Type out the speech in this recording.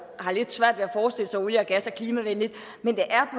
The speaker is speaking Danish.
har lidt svært ved at forestille sig at olie og gas er klimavenligt men det er